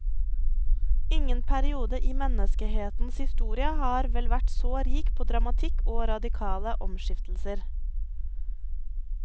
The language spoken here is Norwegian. Ingen periode i menneskehetens historie har vel vært så rik på dramatikk og radikale omskiftelser.